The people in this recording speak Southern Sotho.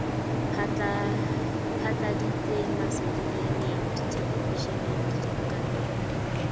phatladitse masedinyaneng dithelevishineng le dibukaneng